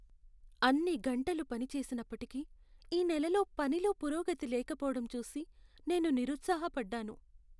అన్ని గంటలు పనిచేసినప్పటికీ ఈ నెలలో పనిలో పురోగతి లేకపోవడం చూసి నేను నిరుత్సాహపడ్డాను.